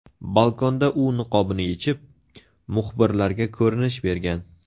Balkonda u niqobini yechib, muxbirlarga ko‘rinish bergan.